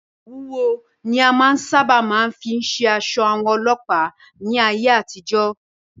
Òwú wúwo ni a sáábà máa fí ń ṣe aṣọ àwọn Ọlọ́pàá ní ayé àtijọ́.